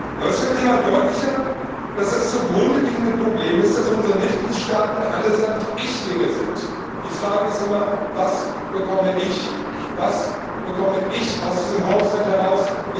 Aber es wird immer deutlicher, dass das zugrundeliegende Problem ist, dass unsere Mitgliedstaaten allesamt Ichlinge sind. Die Frage ist immer Was bekomme ICH aus diesem Haushalt heraus?